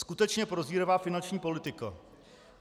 Skutečně prozíravá finanční politika.